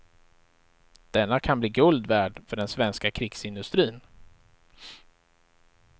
Denna kan bli guld värd för den svenska krigsindustrin.